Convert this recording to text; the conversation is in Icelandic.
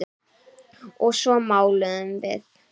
Og svo máluðum við.